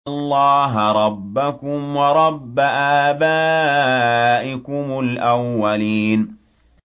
اللَّهَ رَبَّكُمْ وَرَبَّ آبَائِكُمُ الْأَوَّلِينَ